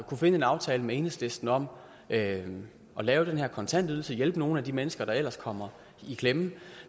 finde en aftale med enhedslisten om at lave den her kontantydelse hjælpe nogle af de mennesker der ellers kommer i klemme